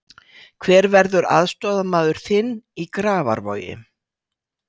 Hver verður aðstoðarmaður þinn í Grafarvogi?